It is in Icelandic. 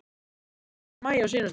Ekki frá því í maí á seinasta ári.